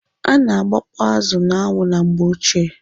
Ana agbakpọ azụ n'anwụ na mgbeochie.